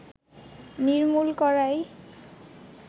নির্মূল করাই